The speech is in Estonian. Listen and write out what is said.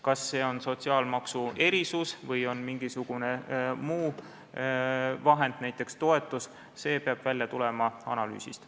Kas see on sotsiaalmaksu erisus või on mingisugune muu vahend, näiteks toetus, see peab välja tulema analüüsist.